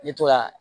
N bɛ to ka